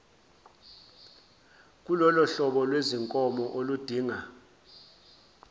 kulolohlobo lwezinkomo oludinga